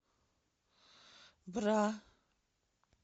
бра